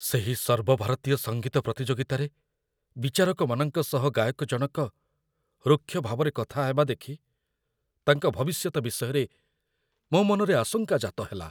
ସେହି ସର୍ବଭାରତୀୟ ସଙ୍ଗୀତ ପ୍ରତିଯୋଗିତାରେ ବିଚାରକମାନଙ୍କ ସହ ଗାୟକଜଣକ ରୁକ୍ଷ ଭାବରେ କଥା ହେବା ଦେଖି ତାଙ୍କ ଭବିଷ୍ୟତ ବିଷୟରେ ମୋ ମନରେ ଆଶଙ୍କା ଜାତ ହେଲା।